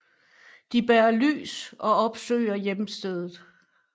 De bærer lys og opsøger hjemstedet